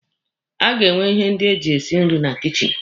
A ga-enwe ihe ndị eji esi nri na kichin.